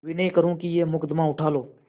विनय करुँ कि यह मुकदमा उठा लो